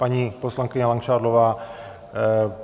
Paní poslankyně Langšádlová.